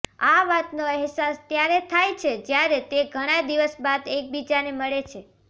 આ વાતનો અહેસાસ ત્યારે થાય છે જયારે તે ઘણા દિવસ બાદ એકબીજાને મળે છે